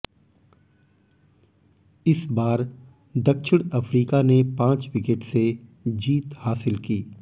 इस बार दक्षिण अफ्रीका ने पांच विकेट से जीत हासिल की